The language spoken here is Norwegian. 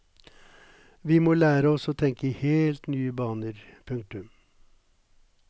Vi må lære oss å tenke i helt nye baner. punktum